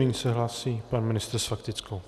Nyní se hlásí pan ministr s faktickou.